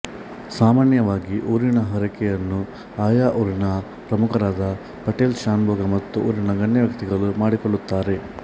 ಸಾಮಾನ್ಯವಾಗಿ ಊರಿನ ಹರಕೆಯನ್ನು ಆಯಾ ಊರಿನ ಪ್ರಮುಖರಾದ ಪಟೇಲ ಶಾನುಭೋಗ ಮತ್ತು ಊರಿನ ಗಣ್ಯವ್ಯಕ್ತಿಗಳು ಮಾಡಿಕೊಳ್ಳುತ್ತಾರೆ